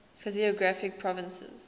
physiographic provinces